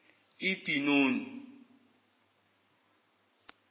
ibenoni